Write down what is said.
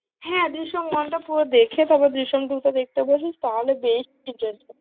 হ্যাঁ, জিসম ওয়ানটা পুরো দেখে, তারপর জিসিম টু টা দেখতে বসিস, তাহলে best